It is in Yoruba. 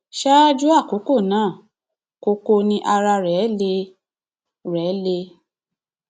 ṣáájú àkókò náà koko ni ara rẹ le rẹ le